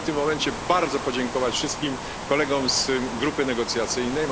Chciałem w tym momencie bardzo podziękować wszystkim kolegom z grupy negocjacyjnej.